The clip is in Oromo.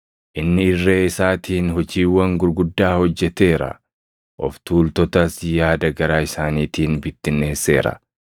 Inni irree isaatiin hojiiwwan gurguddaa hojjeteera; of tuultotas yaada garaa isaaniitiin bittinneesseera.